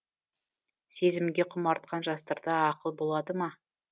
сезімге құмартқан жастарда ақыл болады ма